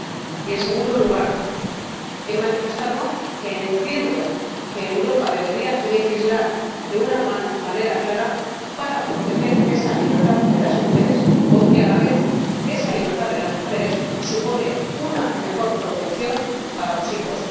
Y, en segundo lugar, he manifestado que entiendo que Europa debería legislar de una manera clara para proteger esa libertad de las mujeres, porque a la vez esa libertad de las mujeres supone una mejor protección para los hijos.